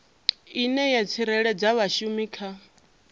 ine ya tsireledza vhashumi kha